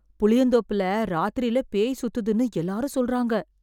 புளியந்தோப்புல ராத்திரியில பேய் சுத்துதுன்னு எல்லாரும் சொல்றாங்க